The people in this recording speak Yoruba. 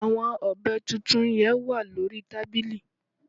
Àwon ọ̀bẹ tuntun yen wà lórí tábìlì